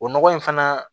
O nɔgɔ in fana